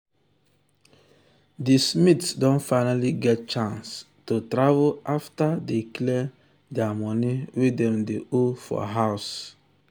di smiths don finally get chance to travel after dey clear di money wey dem dey owe for house.